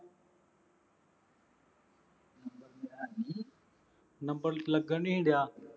number ਲੱਗਣ ਨਹੀਂ ਸੀ ਡਿਆ